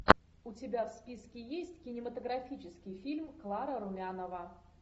у тебя в списке есть кинематографический фильм клара румянова